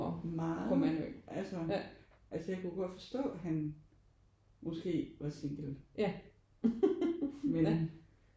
Meget altså altså jeg kunne godt forstå han måske var single men